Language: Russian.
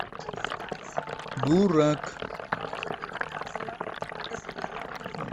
дурак